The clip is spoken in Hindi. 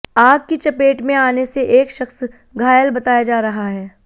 आग की चपेट में आने से एक शख्स घायल बताया जा रहा है